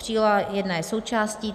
Příloha 1 je součástí.